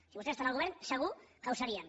si vostès estan al govern segur que ho serien